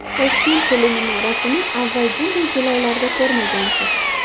Toshkent teleminorasini avval bunday jilolarda ko‘rmagansiz!.